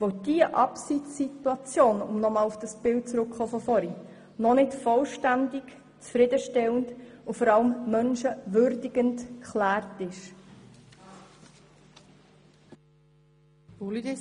Denn diese Abseits-Situation ist noch nicht völlig zufriedenstellend und vor allem menschenwürdigend geklärt.